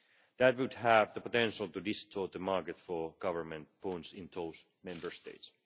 That would have the potential to distort the market for government bonds in those Member States.